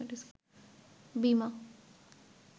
বীমা